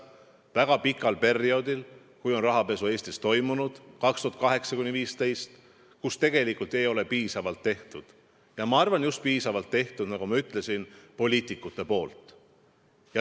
Väga pikal perioodil, kui on rahapesu Eestis toimunud – 2008 kuni 2015 –, ei ole tegelikult piisavalt tehtud, ja ma arvan, et ei ole piisavalt tehtud, nagu ma ütlesin, just poliitikute poolt.